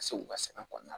Ka se u ka sɛnɛ kɔnɔna la